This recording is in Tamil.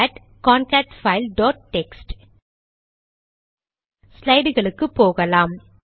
கேட் கான்கேட்பைல் டாட் டெக்ஸ்ட் ஸ்லைடுக்கு போகலாம்